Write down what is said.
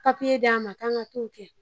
Papiye d'an ma k'an ka t'o kɛ.